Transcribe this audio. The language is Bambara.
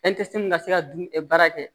ka se ka dumuni baara kɛ